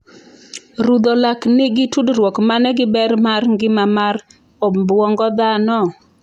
Rudho lak nigi tudruok mane gi ber mar ngima mar obuongo dhano?